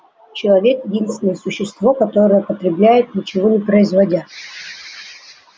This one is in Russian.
человек единственное существо которое потребляет ничего не производя